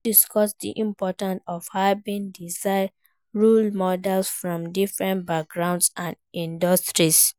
You fit discuss di importance of having diverse role models from different backgrounds and industries.